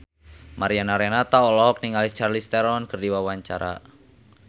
Mariana Renata olohok ningali Charlize Theron keur diwawancara